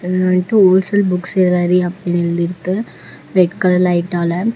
இது one wholesale book celery அப்டின்னு எழுதிருக்கு ரெட் கலர் லைட்டால .